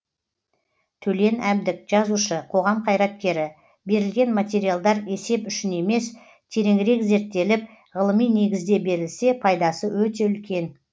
төлен әбдік жазушы қоғам қайраткері берілген материалдар есеп үшін емес тереңірек зерттеліп ғылыми негізде берілсе пайдасы өте үлкен